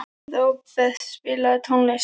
Robert, spilaðu tónlist.